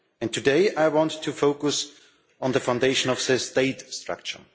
Today I want to focus on the foundation of the state structure.